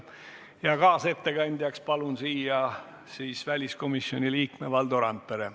Kaasettekandjaks palun siia väliskomisjoni liikme Valdo Randpere.